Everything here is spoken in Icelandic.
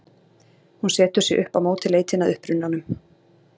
Hún setur sig upp á móti leitinni að upprunanum.